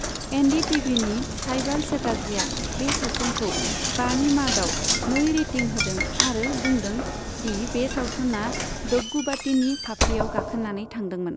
N D टिभिनि साइबाल चेटार्जिआ बे सावथुनखौ बानि मादाव नै रेटिं होदों आरो बुंदों दि बे सावथुना डग्गुबातीनि फाफ्लिआव गाखोनानै थांदोंमोन।